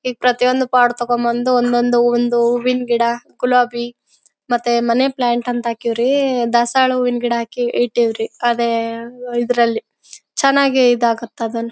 ಈಗ ಪ್ರತಿಯೊಂದು ಪಾಟ್ ತೊಕೊಂಡ ಬಂದು ಒಂದೊಂದು ಹೂವಿನ ಗಿಡ ಗುಲಾಬಿ ಮತ್ತೆ ಮನಿ ಪ್ಲಾಂಟ್ ಅಂತ ಹಾಕ್ಯವರಿ ದಾಸವಾಳ ಹೂವಿನ ಗಿಡ ಹಾಕಿ ಇಟ್ಟಿವ್ ರಿ. ಅದೇ ಇದ್ರಲ್ಲಿ ಚನ್ನಾಗಿ ಇದಾಗುತ್ತೆ ಅದನ್ನು--